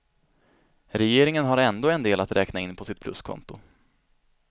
Regeringen har ändå en del att räkna in på sitt pluskonto.